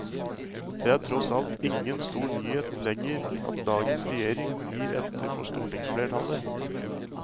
Det er tross alt ingen stor nyhet lenger at dagens regjering gir etter for stortingsflertallet.